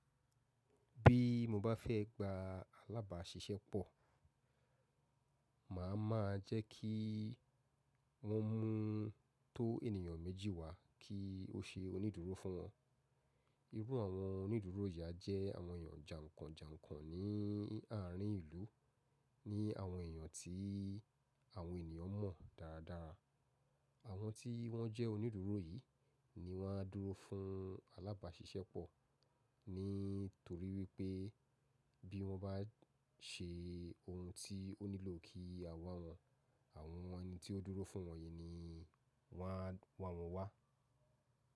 Bí mo bá fẹ́ gba alábàáṣiṣẹ́ pọ̀, màá ma jẹ́ kí wọ́n mú tó ènìyàn méjì wá kí ó ṣe onídúró fún wọn. Irú àwọn onídúró yìí a jẹ́ àwọn èèyàn jànkànjànkàn ní àárín ìlú, ní àwọn èèyàn tí àwọn ènìyàn mọ̀ dáradára. Àwọn tí wọ́n jẹ́ onídúró yìí ni wọ́n á dúró fún alábàáṣiṣẹ́ pọ̀, nítorí wípé bí wọ́n bá se ohun tí ó nílò kí a wá wọ̀n, àwọn ẹni tí ó dúró fún wọn yìí ni wọ́n á wá wọn wá.